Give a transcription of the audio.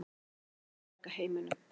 Við ætluðum að bjarga heiminum.